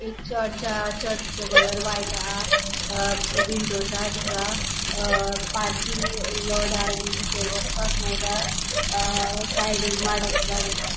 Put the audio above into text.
एक चर्च हा चर्चि चो कलर व्हाइट हा अ विंडोज़ हा तिका हा पार्किंग लॉट हा बितर वॉसपाक मेळटा अ साइडीक माडाची झाड़ आसा.